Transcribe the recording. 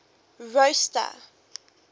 rosta